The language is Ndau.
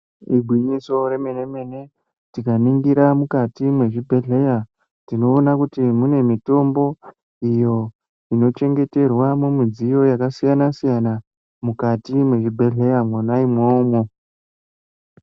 Igwinyiso remene-mene tikaningira mukati mwezvibhehleya tinoona kuti mune mitombo iyo inochengeterwa mumidziyo yakasiyana-siyana mukati mwezvibhehleya mwona imwomwo.